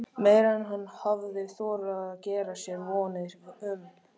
Meira en hann hafði þorað að gera sér vonir um.